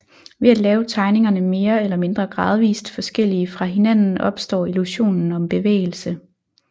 Ved at lave tegningerne mere eller mindre gradvist forskellige fra hinanden opstår illusionen om bevægelse